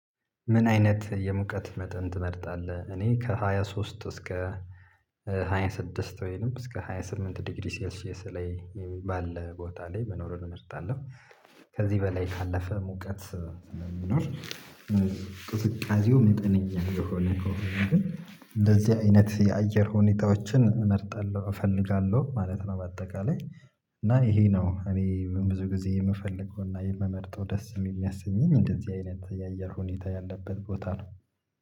ምን አይነት የሙቀት መጠን ትመርጣለህ? እኔ ከሃያ ሶስት እስከ ሃያ ስድስት ወይንም እስከ ሃያ ስምንት ዲግሪ ሴልሸስ ላይ ባለ ቦታ ላይ መኖር እንመርጣለን። ከዚህ በላይ ካለፈ ሙቀት የሚኖር። ቅዝቃዜው መጠነኛ ከሆነ ከሆነ ግን እንደዚህ አይነት የአየር ሁኔታዎችን እመርጣለሁ እፈልጋለሁ ማለት ነው። በአጠቃላይ እና ይሄ ነው እኔ ብዙ ጊዜ የምፈልገውና የምመርጠው ደስ የሚያሰኘኝ እንደዚህ አይነት የአየር ሁኔታ ያለበት ቦታ ነው።